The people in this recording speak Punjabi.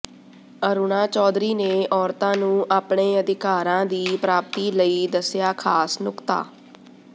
ਅਰੁਣਾ ਚੌਧਰੀ ਨੇ ਔਰਤਾਂ ਨੂੰ ਆਪਣੇ ਅਧਿਕਾਰਾਂ ਦੀ ਪ੍ਰਾਪਤੀ ਲਈ ਦਸਿਆ ਖਾਸ ਨੁਕਤਾ